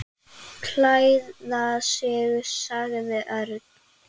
Klæða sig sagði Örn.